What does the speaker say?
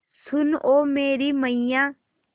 सुन ओ मेरी मैय्या